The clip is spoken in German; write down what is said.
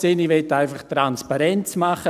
Ich möchte einfach Transparenz herstellen.